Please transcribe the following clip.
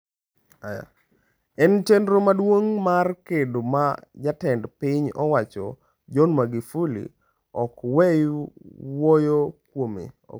En chenro maduong' mar gedo ma Jatend piny owacho John Magufuli ok weyo wuoyo kuome.